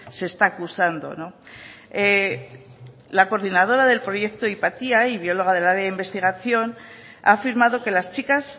se está acusando la coordinadora del proyecto hypatia y bióloga del área de investigación ha afirmado que las chicas